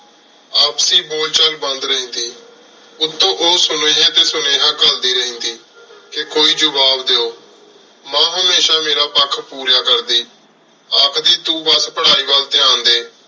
ਆਪਸੀ ਬੋਲ ਚਲ ਬੰਦ ਰਿਹੰਦੀ ਉਤੋ ਓਹ ਸੁਨੇਹਾ ਟੀ ਸੁਨੇਹਾ ਕਾਲੜੀ ਰਿਹੰਦੀ ਕਹ ਕੋਈ ਜਵਾਬ ਦੇਹੋ ਮਾਂ ਹਮੇਸ਼ਾ ਮੇਰਾ ਪਖ ਪੂਰੀਆਂ ਕਰਦੀ ਆਖਦੀ ਤੂ ਬਾਸ ਪਢ਼ਾਈ ਵਾਲ ਟੀਂ ਡੀ